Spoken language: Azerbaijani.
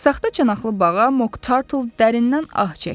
Saxta çanaqlı bağa Moktarl dərindən ah çəkdi.